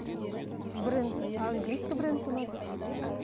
ммм бренд английский бренд у нас мхм